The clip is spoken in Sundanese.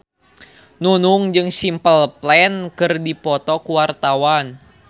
Nunung jeung Simple Plan keur dipoto ku wartawan